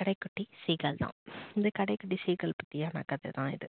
கடைக்குட்டி seegal தான் இந்த கடைக்குட்டி seegal பற்றியான கதைதான் இது